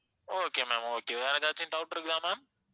okay ma'am okay வேற ஏதாச்சும் doubt இருக்குதா ma'am